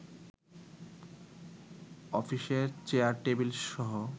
অফিসের চেয়ার-টেবিলসহ